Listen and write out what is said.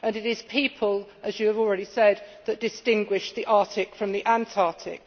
It is people, as you have already said, that distinguish the Arctic from the Antarctic.